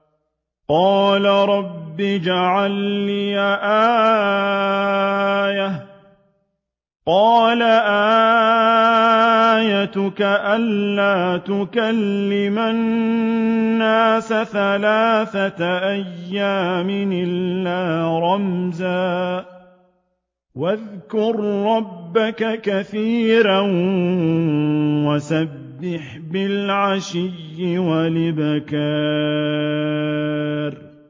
قَالَ رَبِّ اجْعَل لِّي آيَةً ۖ قَالَ آيَتُكَ أَلَّا تُكَلِّمَ النَّاسَ ثَلَاثَةَ أَيَّامٍ إِلَّا رَمْزًا ۗ وَاذْكُر رَّبَّكَ كَثِيرًا وَسَبِّحْ بِالْعَشِيِّ وَالْإِبْكَارِ